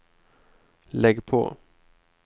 lägg på